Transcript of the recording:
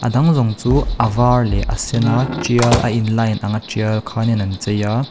a dang zawng chu a var leh a sena tial a in line anga tial khanin an cheia.